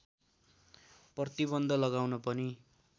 प्रतिबन्ध लगाउन पनि